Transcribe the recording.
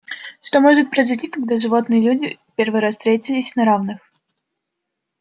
что может произойти когда животные и люди в первый раз встретились на равных